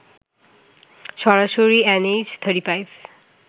সরাসরি এনএইচ 35